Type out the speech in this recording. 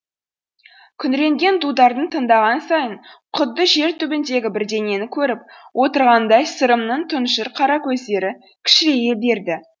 күңіренген дутарды тыңдаған сайын құдды жер түбіндегі бірдеңені көріп отырғандай сырымның тұнжыр қара көздері кішірейе берді